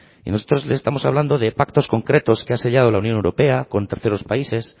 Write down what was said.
y nosotros le estamos hablando de pactos concretos que ha sellado la unión europea con terceros países